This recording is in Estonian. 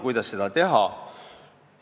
Kuidas seda teha?